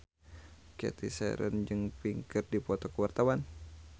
Cathy Sharon jeung Pink keur dipoto ku wartawan